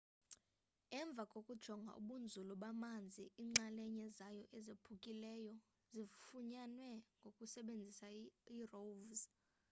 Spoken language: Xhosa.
emva kokujonga ubunzulu bamanzi iinxalenye zayo ezaphukileyo zifunyanwe ngokusebenzisa irov